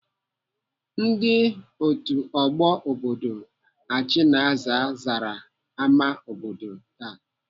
Ndi otu ọgbọ obodo Achina zara ama obodo taa.